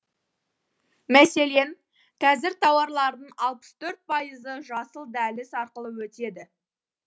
мәселен қазір тауарлардың алпыс төрт пайызы жасыл дәліз арқылы өтеді